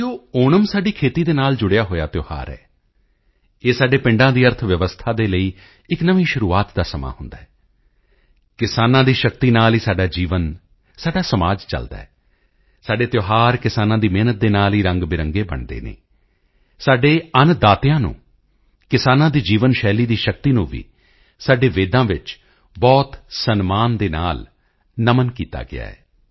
ਸਾਥੀਓ ਓਣਮ ਸਾਡੀ ਖੇਤੀ ਦੇ ਨਾਲ ਜੁੜਿਆ ਹੋਇਆ ਤਿਓਹਾਰ ਹੈ ਇਹ ਸਾਡੇ ਪਿੰਡਾਂ ਦੀ ਅਰਥਵਿਵਸਥਾ ਦੇ ਲਈ ਇੱਕ ਨਵੀਂ ਸ਼ੁਰੂਆਤ ਦਾ ਸਮਾਂ ਹੁੰਦਾ ਹੈ ਕਿਸਾਨਾਂ ਦੀ ਸ਼ਕਤੀ ਨਾਲ ਹੀ ਸਾਡਾ ਜੀਵਨ ਸਾਡਾ ਸਮਾਜ ਚਲਦਾ ਹੈ ਸਾਡੇ ਤਿਓਹਾਰ ਕਿਸਾਨਾਂ ਦੀ ਮਿਹਨਤ ਦੇ ਨਾਲ ਹੀ ਰੰਗਬਿਰੰਗੇ ਬਣਦੇ ਹਨ ਸਾਡੇ ਅੰਨਦਾਤਿਆਂ ਨੂੰ ਕਿਸਾਨਾਂ ਦੀ ਜੀਵਨ ਸ਼ੈਲੀ ਦੀ ਸ਼ਕਤੀ ਨੂੰ ਵੀ ਸਾਡੇ ਵੇਦਾਂ ਵਿੱਚ ਬਹੁਤ ਸਨਮਾਨ ਦੇ ਨਾਲ ਨਮਨ ਕੀਤਾ ਗਿਆ ਹੈ